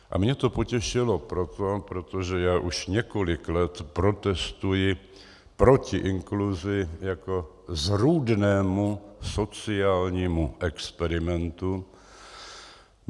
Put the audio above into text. A mě to potěšilo proto, protože já už několik let protestuji proti inkluzi jako zrůdnému sociálnímu experimentu.